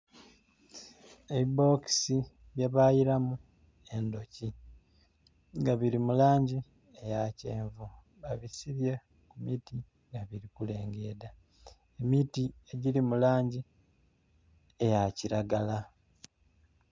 Ebibokisi bye bayiramu endhoki nga biri mu langi eya kyenvu, babisibye ku miti nga biri kulengedha. Emiti egiri mu langi eya kiragala.